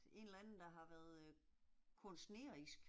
En eller anden der har været øh kunstnerisk